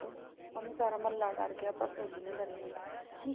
ਉਹਨੇ ਸਾਰਾ ਮਹੱਲਾ ਡਰ ਗਿਆ ਪਰ ਤੁਸੀਂ ਨਹੀਂ ਡਰੇ ਆਉਂਦਾ ਨੀ